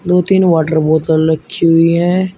दो तीन वाटर बोतल रखी हुई हैं।